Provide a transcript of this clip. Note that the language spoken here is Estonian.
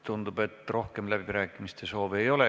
Tundub, et rohkem läbirääkimiste soovi ei ole.